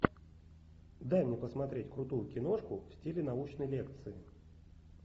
дай мне посмотреть крутую киношку в стиле научной лекции